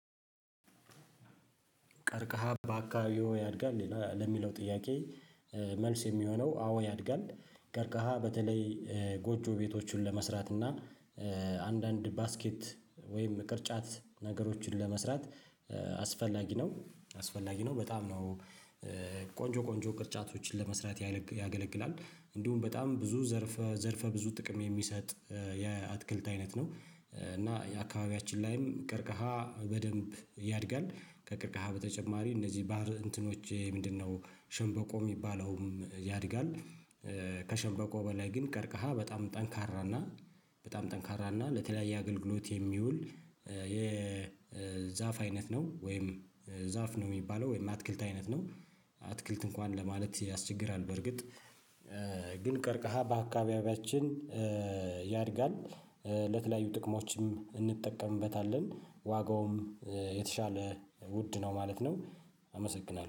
ቀርቀሃ በአካባቢዎ ያድጋል ለሚለው ጥያቄ መልስ የሚሆነው አዎ ያድጋል። ቀርከሃ በተለይ ጎጆ ቤቶችን ለመስራት እና። አንዳንድ ባስኬት ወይም ቅርጫት ነገሮችን ለመስራት። አስፈላጊ ነው አስፈላጊ ነው በጣም ነው። ቆንጆ ቆንጆ ቅርጫቶችን ለመስራት ያገለግላል እንዲሁም በጣም ብዙ ዘርፈ ዘርፈ ብዙ ጥቅም የሚሰጥ የአትክልት አይነት ነው። እና የአካባቢያችን ላይም ቀርቀሃ በደንብ ያድጋል። ከቀርቀሃ በተጨማሪ እነዚህ ባህር እንትኖች ምንድነው? ሸንበቆ የሚባለውም ያድጋል። ከሸንበቆ በላይ ግን ቀርቀሃ በጣም ጠንካራና በጣም ጠንካራና ለተለያየ አገልግሎት የሚውል የዛፍ አይነት ነው። ወይም ዛፍ ነው የሚባለው ወይም አትክልት አይነት ነው። አትክልት እንኳን ለማለት ያስቸግራል በርግጥ ግን ቀርቀሃ በአካባቢያችን ያድጋል። ለተለያዩ ጥቅሞችም እንጠቀምበታለን ዋጋውም የተሻለ ውድ ነው ማለት ነው። አመሰግናለሁ